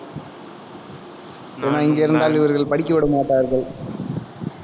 ஆனால், இங்க இருந்தால் இவர்கள் படிக்க விடமாட்டார்கள்